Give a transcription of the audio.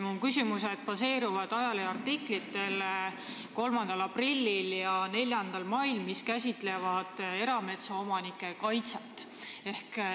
Mu küsimused baseeruvad 3. aprilli ja 4. mai ajaleheartiklitel, mis käsitlevad erametsaomanike kaitset.